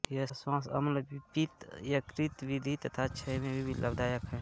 यह श्वास अम्लपित्त यकृतवृद्धि तथा क्षय में भी लाभदायक है